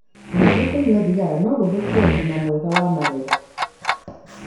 Ningĩ kũnyua thigara no gũthũkie ũgima mwega wa magego.